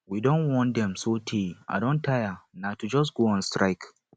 we don warn dem so tey i don tire na to just go on strike